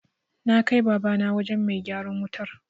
Na kai Babana wajen mai gyaran wutar.